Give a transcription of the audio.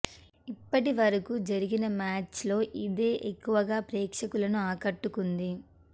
ఇప్పటి వరకూ జరిగిన మ్యాచ్ల్లో ఇదే ఎక్కువ గా ప్రేక్షకులను ఆకట్టుకుంది